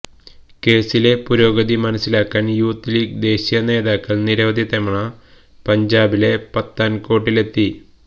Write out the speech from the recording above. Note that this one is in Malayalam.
കേസിലെ പുരോഗതി മനസ്സിലാക്കാന് യുത്ത് ലീഗ് ദേശീയ നേതാക്കള് നിരവധി തവണ പഞ്ചാബിലെ പത്താന്കോട്ടിലെത്തി